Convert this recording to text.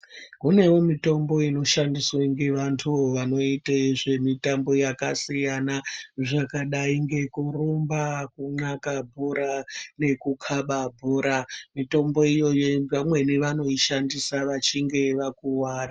Kunewo mitombo inoshandiswe nge vantu vanoite zve mitambo dzaka siyana zvakadai ngekurumba ku hlaka bhora nge ku kaba bhora mitombo ineyi vamwe vanoishandisa vachinge vakwara.